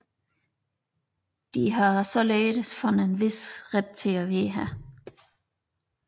De har således fået en vis ret til at være her